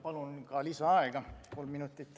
Palun ka lisaaega!